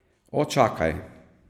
O, čakaj.